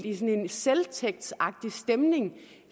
en selvtægtsagtig stemning